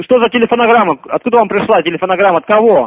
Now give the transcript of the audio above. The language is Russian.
что за телефонограмма откуда он пришла телефонограмма от кого